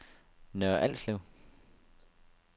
Nørre Alslev